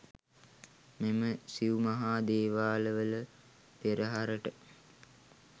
මෙම සිව් මහා දේවාලවල පෙරහරට